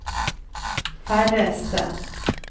færreste